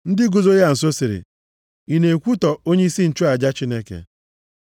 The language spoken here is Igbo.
Ndị guzo ya nso sịrị, “Ị na-ekwutọ onyeisi nchụaja Chineke?”